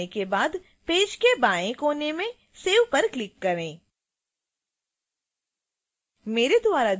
सभी विवरण भरने के बाद पेज के बाएं कोने में save पर क्लिक करें